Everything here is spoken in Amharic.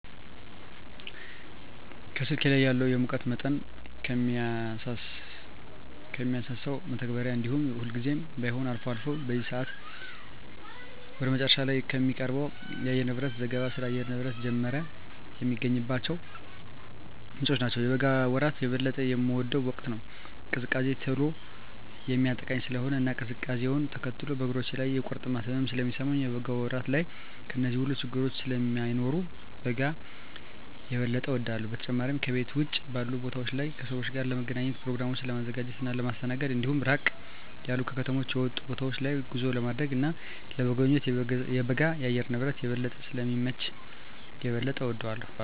ከስልኬ ላይ ካለው የሙቀት መጠንን ከሚያሳሰው መተግበሪያ እንዲሁም ሁልጊዜም ባይሆን አልፎ አልፎ በዜና ሰአት ወደ መጨረሻ ላይ ከሚቀርበው የአየርንብረት ዘገባ ስለ አየር ንብረት ጀመረ የሚገኝባቸው ምንጮች ናቸው። የበጋ ወራት የበለጠ የምወደው ወቅት ነው። ቅዝቃዜ ቶሎ የሚያጠቃኝ ስለሆነ እና ቅዝቃዜውነ ተከትሎ በእግሮቼ ላይ የቁርጥማት ህመም ስለሚሰማኝ የበጋ ወራት ላይ እነዚህ ሁሉ ችግረኞች ስለማይኖሩ በጋን የበጠ እወዳለሁ። በተጨማሪም ከቤት ውጭ ባሉ ቦታወች ላይ ከሰወች ጋር ለመገናኘት፣ በኘሮግራሞችን ለማዘጋጀት እና ለማስተናገድ እንዲሁም ራቅ ያሉ ከከተማ የወጡ ቦታወች ላይ ጉዞ ለማድረግ እና ለመጎብኘት የበጋ የአየር ንብረት የበለጠ ስለሚመች የበለጠ እወደዋለሁ።